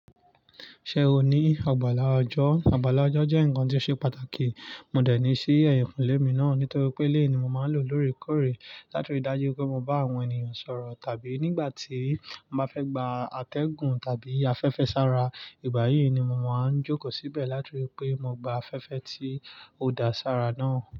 Ṣé o ní àgbàlá ọjọ́? Àgbàlá ọjọ́ jẹ́ ǹkan tí ó ṣe pàtàkì. Mo dẹ̀ ní sí ẹ̀yìnkùlé mi náà nítorí pé eléyìí ni mo máa ń lò lóorekórè láti rí i dájú pé mo bá àwọn ènìyàn sọ̀rọ̀ tàbí nígbà tí mo bá fẹ́ gba àtẹ̀gùn tàbí afẹ́fẹ́ sára. Ìgbà yìí ni mo máa ń jókòó síbẹ̀ láti rí i pé mo gba afẹ́fẹ́ tí ó da sára náà.